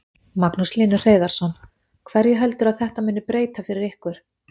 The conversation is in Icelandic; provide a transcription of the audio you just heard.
Magnús Hlynur Hreiðarsson: Hverju heldurðu að þetta muni breyta fyrir ykkur?